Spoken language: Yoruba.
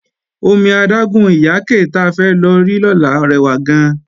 Omi adágún Ìyáké ta fẹ́ lọ rí lọ́la rẹwà gan-an